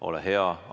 Ole hea!